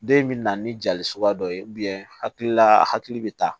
Den in bɛ na ni jali suguya dɔ ye hakilila a hakili bɛ taa